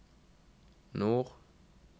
nord